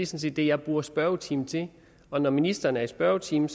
set det jeg bruger spørgetimen til og når ministeren er i spørgetimen